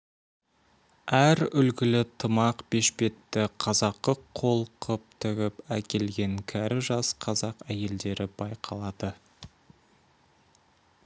әр үлгілі тымақ бешпетті қазақы қол қып тігіп әкелген кәрі жас қазақ әйелдері байқалады